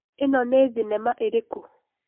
ĩno nĩ thenema ĩrĩkũ?